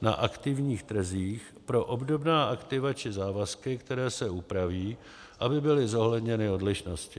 na aktivních trzích pro obdobná aktiva či závazky, které se upraví, aby byly zohledněny odlišnosti.